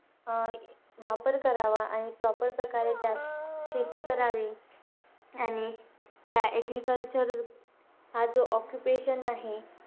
अं वापर करावा. आणि proper प्रकारे त्यात शेती करावी. आणि त्यात agriculture हा जो occupation आहे,